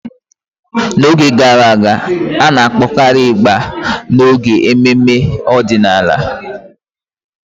N'oge gara aga, a na-akpọkarị ịgbà n'oge ememe ọdịnala.